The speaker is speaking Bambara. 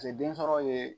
den sɔrɔ ye